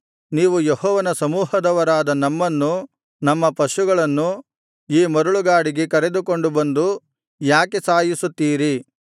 ನೀವು ಯೆಹೋವನ ಸಮೂಹದವರಾದ ನಮ್ಮನ್ನೂ ನಮ್ಮ ಪಶುಗಳನ್ನೂ ಈ ಮರಳುಗಾಡಿಗೆ ಕರೆದುಕೊಂಡು ಬಂದು ಯಾಕೆ ಸಾಯಿಸುತ್ತೀರಿ